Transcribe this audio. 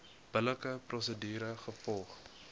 billike prosedure gevolg